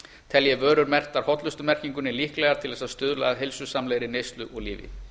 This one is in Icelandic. telji vörur merktar hollustumerkingunni líklegar til þess að stuðla að heilsusamlegri neyslu og lífi